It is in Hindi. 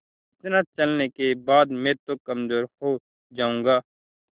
इतना चलने के बाद मैं तो कमज़ोर हो जाऊँगा